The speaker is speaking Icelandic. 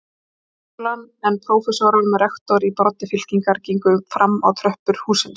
Háskólann, en prófessorar með rektor í broddi fylkingar gengu fram á tröppur hússins.